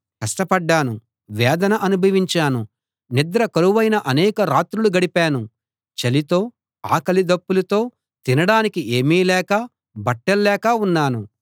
కష్ట పడ్డాను వేదన అనుభవించాను నిద్ర కరువైన అనేక రాత్రులు గడిపాను చలితో ఆకలి దప్పులతో తినడానికి ఏమీ లేక బట్టల్లేక ఉన్నాను